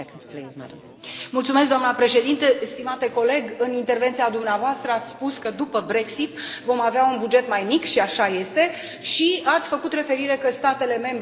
Stimate coleg, în intervenția dumneavoastră, ați spus că după Brexit vom avea un buget mai mic și așa este și ați făcut referire la faptul că statele membre, cetățenii, ar trebui să contribuie mai mult.